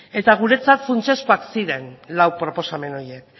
eta guretzat funtsezkoak ziren lau proposamen horiek